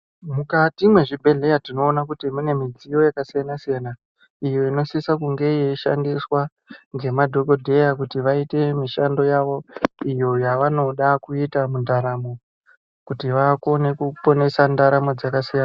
Mukati mezvibhedhlera tinoona kuti mune midziyo yakasiyana siyana iyo inosisa nemadhokodheya kuti vaite mishando Yawo iyo yavnoda kuita mundamo.